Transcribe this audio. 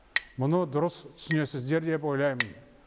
мұны дұрыс түсінесіздер деп ойлаймын